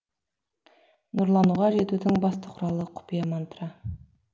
нұрлануға жетудің басты құралы құпия мантра